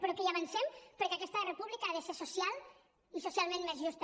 però que hi avancem perquè aquesta república ha de ser social i socialment més justa